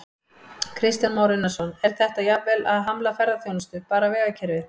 Kristján Már Unnarsson: Er þetta jafnvel að hamla ferðaþjónustu, bara vegakerfið?